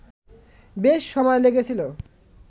বেশ সময় লেগেছিল।